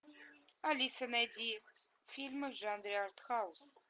алиса найди фильмы в жанре арт хаус